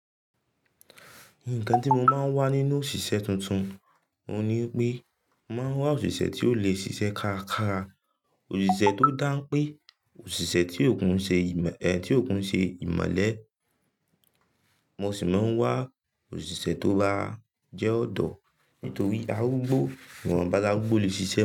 Nǹkan tí mo máa ń wá nínú òṣìṣẹ́ tuntun ohun ni wípé, màá wá òṣìṣẹ́ tí ó lè ṣiṣẹ́ kárakára, òṣìṣẹ́ tó dáń pé, òṣìṣẹ́ tí òún ṣe ìmelẹ̀, mo sì máa ń wá òṣìṣẹ́ tó bá jẹ́ ọ̀dọ́ nítorí arúgbó, ìwọ̀nba arúgbó le ṣiṣẹ́.